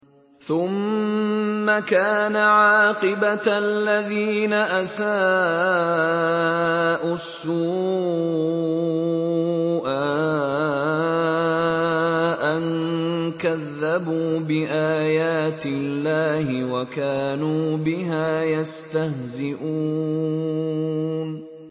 ثُمَّ كَانَ عَاقِبَةَ الَّذِينَ أَسَاءُوا السُّوأَىٰ أَن كَذَّبُوا بِآيَاتِ اللَّهِ وَكَانُوا بِهَا يَسْتَهْزِئُونَ